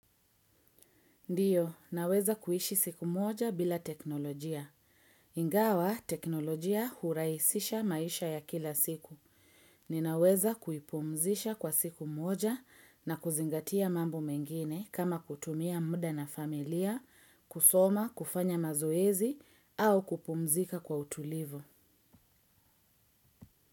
Ndiyo, naweza kuishi siku moja bila teknolojia. Ingawa, teknolojia hurahisisha maisha ya kila siku. Ninaweza kuipumzisha kwa siku moja na kuzingatia mambo mengine kama kutumia muda na familia, kusoma, kufanya mazoezi, au kupumzika kwa utulivu.